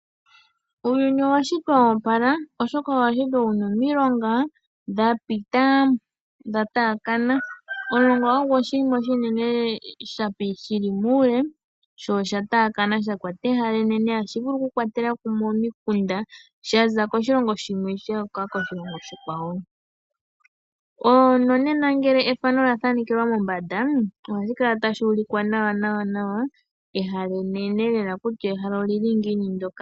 Uuyuni owa shitwa wo opala oshoka owashitwa wuna omiilonga dha pita dha taakana . Omulonga ogo oshinima oshinima oshinene shili muule sho osha taakana sha kwata ehala enene. Ohashi vulu oku kwatela kumwe omikunda shaza koshilongo shimwe shu uka koshilongo oshikwawo . Nonena ngele ethano olya thanekelwa mombanda ohali kala tashi ulikwa nawa nawa ehala enene lela kutya ehala olili ngiini ndoka.